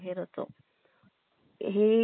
ते असले की पहिले